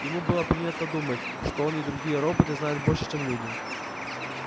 ему было принято думать что он и другие роботы знают больше чем люди